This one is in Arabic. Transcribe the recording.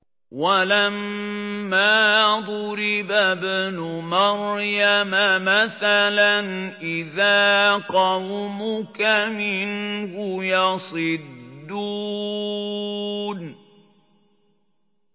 ۞ وَلَمَّا ضُرِبَ ابْنُ مَرْيَمَ مَثَلًا إِذَا قَوْمُكَ مِنْهُ يَصِدُّونَ